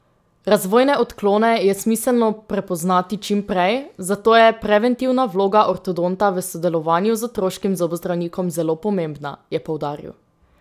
Razvojne odklone je smiselno prepoznati čim prej, zato je preventivna vloga ortodonta v sodelovanju z otroškim zobozdravnikom zelo pomembna, je poudaril.